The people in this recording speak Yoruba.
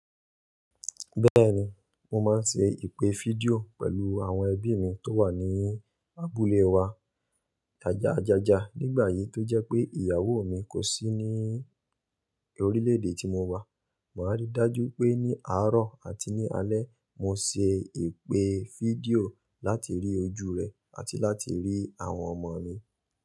Bẹ́ẹ̀ni, mo máa ń ṣe ìpè fídíò pẹ̀lú àwọn ẹbí mi tó wà ní abúlé wa. Ajaja. Nígbà yìí tó jẹ́ pé ìyàwó mi kò sí ní orílẹ̀ èdè tí mo wà. Màá rí dájú pé ní àárọ̀ àti ní alẹ́ mo ṣe ìpè fídíò láti rí ojú rẹ̀ àti láti rí àwọn ọmọ mi.